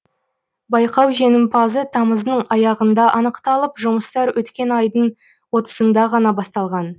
байқау жеңімпазы тамыздың аяғында анықталып жұмыстар өткен айдың отызында ғана басталған